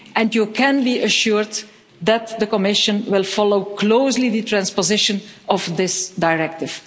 You can be assured that the Commission will follow closely the transposition of this directive.